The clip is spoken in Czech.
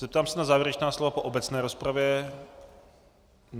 Zeptám se na závěrečná slova po obecné rozpravě.